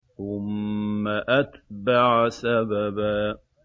ثُمَّ أَتْبَعَ سَبَبًا